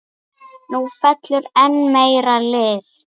Nú fellur enn meira lið.